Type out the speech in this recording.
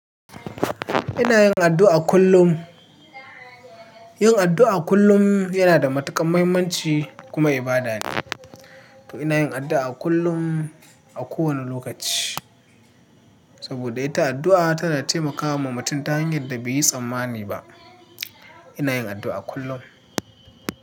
Ina yin addu'a kullum. Yin addu'a kullum yana da matuƙar muhimmanci kuma ibada ne. To ina yin addu'a kullum a kowane lokaci saboda ita addu'a ta na taimakawa mutum ta hanyar da bai yi tsammani ba. Ina yin addu'a kullum.